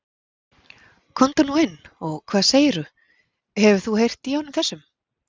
Komdu nú inn og hvað segir þú, hefur þú heyrt í honum þessum?